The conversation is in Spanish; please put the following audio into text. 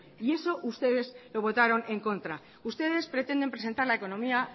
y eso ustedes lo votaron en contra ustedes pretenden presentar la economía